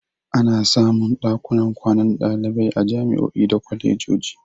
Ana samun ɗakunan kwanan ɗalibai a jami'o'i da kwalejoji.